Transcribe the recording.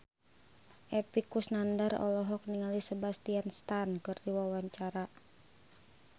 Epy Kusnandar olohok ningali Sebastian Stan keur diwawancara